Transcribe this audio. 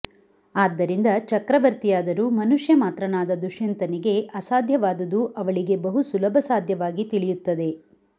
ಆದ್ದರಿಂದ ಚಕ್ರವರ್ತಿಯಾದರೂ ಮನುಷ್ಯಮಾತ್ರನಾದ ದುಷ್ಯಂತನಿಗೆ ಅಸಾಧ್ಯವಾದುದು ಅವಳಿಗೆ ಬಹು ಸುಲಭಸಾಧ್ಯವಾಗಿ ತಿಳಿಯುತ್ತದೆ